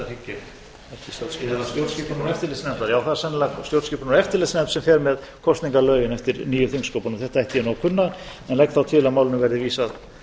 stjórnskipunar og eftirlitsnefndar já það er sennilega stjórnskipunar og eftirlitsnefnd sem fer með kosningalögin eftir nýju þingsköpunum þetta ætti ég nú að kunna en legg þá til að málinu verði vísað